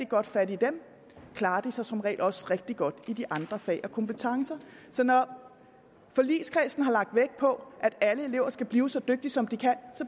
godt fat i dem klarer de sig som regel også rigtig godt i de andre fag og kompetencer når forligskredsen har lagt vægt på at alle elever skal blive så dygtige som de kan så